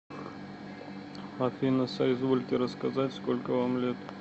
афина соизвольте рассказать сколько вам лет